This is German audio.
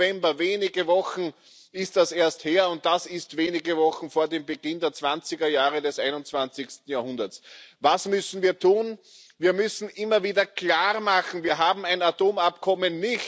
Mitte November wenige Wochen ist das erst her, und das ist wenige Wochen vor dem Beginn der 20er Jahre des 21. Jahrhunderts. Was müssen wir tun? Wir müssen immer wieder klar machen Wir haben ein Atomabkommen.